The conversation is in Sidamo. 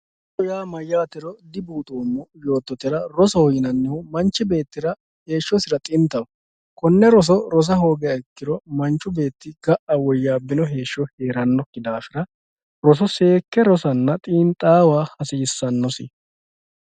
Rosoho yaa mayyatero dibuuxoommo yoottotera, rosoho yinannihu manchi beettira heeshshosira xintaho kone roso rossa hoogiha ikkiro ga"a woyabbino heeshsho heeranokki daafira roso seekke rossanna xiinxawa hasiisanosi.